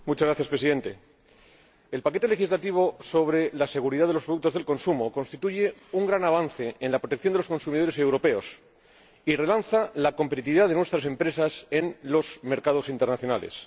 Señor Presidente, el paquete legislativo sobre la seguridad de los productos de consumo constituye un gran avance en la protección de los consumidores europeos y relanza la competitividad de nuestras empresas en los mercados internacionales.